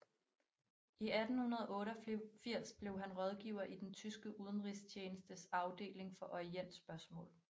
I 1888 blev han rådgiver i den tyske udenrigstjenestes afdeling for orientspørgsmål